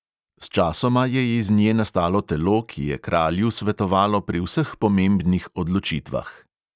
Sčasoma je iz nje nastalo telo, ki je kralju svetovalo pri vseh pomembnih odločitvah.